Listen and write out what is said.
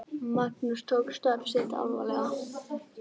Magnús tók starf sitt alvarlega.